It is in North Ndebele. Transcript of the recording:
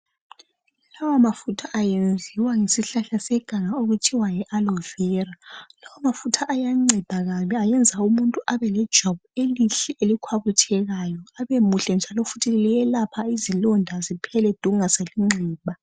Lawa mafutha ayenziwa ngesihlahla seganga okuthiwa Yi aloe vera. Lawa mafutha ayanceda kabi ayenza umuntu Abe lejwabu elihle elikhwabithekayo .Abemuhle njalo futhi liyelapha izilonda ziphele du kungasali nxeba.